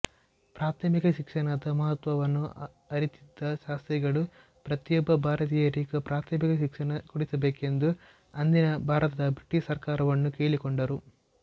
ಪ್ರಾಥಮಿಕ ಶಿಕ್ಷಣದ ಮಹತ್ವವನ್ನು ಅರಿತಿದ್ದ ಶಾಸ್ತ್ರಿಗಳು ಪ್ರತಿಯೊಬ್ಬ ಭಾರತೀಯರಿಗೂ ಪ್ರಾಥಮಿಕ ಶಿಕ್ಷಣ ಕೊಡಿಸಬೇಕೆಂದು ಅಂದಿನ ಭಾರತದ ಬ್ರಿಟಿಷ್ ಸರ್ಕಾರವನ್ನು ಕೇಳಿಕೊಂಡರು